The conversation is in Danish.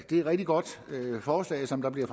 det er et rigtig godt forslag som er blevet